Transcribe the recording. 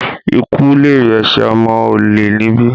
Ikú lèrè ẹ̀sẹ̀ ọmọ olè níbí!